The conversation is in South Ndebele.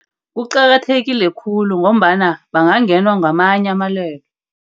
Kuqakathekile khulu, ngombana bangangenwa ngamanye amalwele.